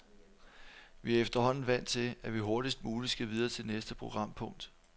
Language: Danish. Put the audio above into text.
Vi er efterhånden vant til, at vi hurtigst muligt skal videre til næste programpunkt.